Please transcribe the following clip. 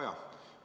Hea Kaja!